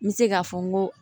N bɛ se k'a fɔ n ko